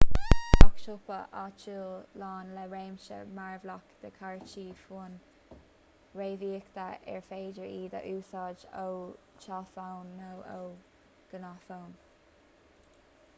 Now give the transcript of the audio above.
bíonn gach siopa áitiúil lán le réimse mearbhlach de chártaí fóin réamhíoctha ar féidir iad a úsáid ó tháillefóin nó ó ghnáthfhóin